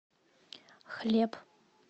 хлеб